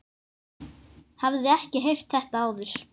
Hafði ekki heyrt þetta áður.